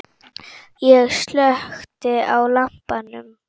Ég slökkti á lampanum.